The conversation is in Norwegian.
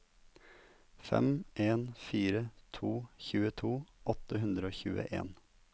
fem en fire to tjueto åtte hundre og tjueen